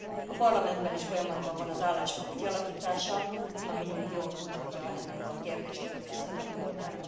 A Parlamentben is folyamatban van az álláspont kialakítása, ami jól mutatja ennek a kérdésnek az összetett voltát.